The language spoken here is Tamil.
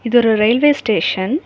இது ஒரு ரயில்வே ஸ்டேஷன் .